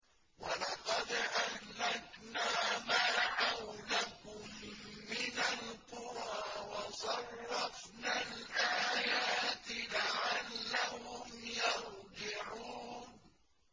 وَلَقَدْ أَهْلَكْنَا مَا حَوْلَكُم مِّنَ الْقُرَىٰ وَصَرَّفْنَا الْآيَاتِ لَعَلَّهُمْ يَرْجِعُونَ